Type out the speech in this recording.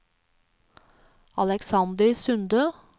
Aleksander Sunde